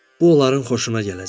Bu onların xoşuna gələcək.